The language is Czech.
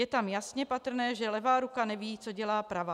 Je tam jasně patrné, že levá ruka neví, co dělá pravá.